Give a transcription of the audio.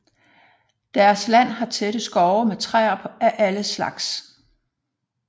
Deres land har tætte skove med træer af alle slags